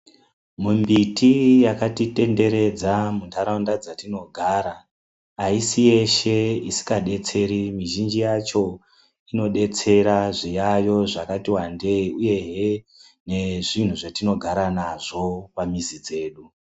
Mumbiti yakatitenderedza mundaraunda dzatinogara aisi yese isingadetseri. Mizhinji yacho inodetsera zviyayo zvakati wandei uyehe nezvinhu zvatinogara nazvo pamizi dzedu.